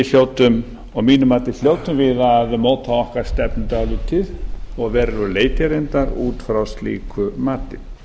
því að mínu mati hljótum við að móta okkar stefnu dálítið og að verulegu leyti reyndar út frá slíku mati